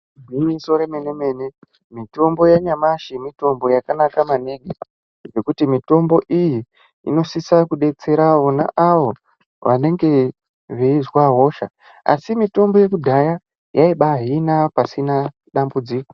Igwinyiso remene mene mitombo yanyamashi mitombo yakanaka maningi ngekuti mitombo iyi inosisa kudetsera vona avo vanenge veizwa hosha asi mitombo yekudhaya yaibaahina pasina dambudziko.